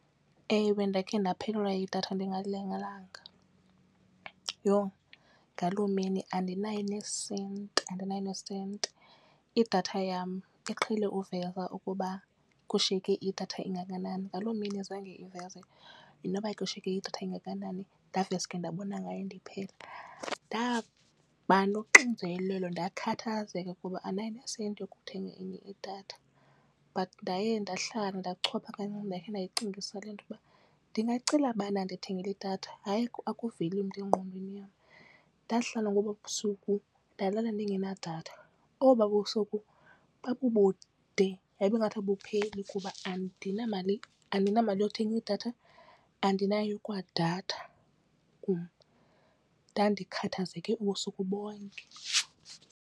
Ewe, ndakhe ndaphelelwa yidatha ndingalindelanga. Yho ngaloo mini andinayo nesenti andinayo nesenti. Idatha yam iqhele uveza ukuba kushiyeke idatha engakanani ngaloo mini zange iveze noba kushiyeke idatha engakanani ndaveske ndabona ngayo ndiphela. Ndaba noxinzelelo ndakhathazeka kuba andinayo nesenti yokuthenga enye idatha. But ndaye ndahlala ndachopha kancinci ndakhe ndayicingisisa le nto uba ndingacela bani andathengale idatha. Hayi akaveli umntu engqondweni yam. Ndahlala ngoba busuku ndalala ndingenadatha, oba busuku babubude, hayibo ngathi abupheli kuba andinamali andinamali yokuthenga idatha andinayo kwadatha kum. Ndandikhathazeke ubusuku bonke.